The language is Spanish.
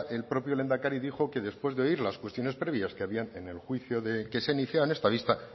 el propio lehendakari dijo que después de oír las cuestiones previas que había en el juicio que se iniciaba en esta vista